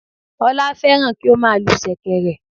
Olá férán kí ó má a lu sèkèrè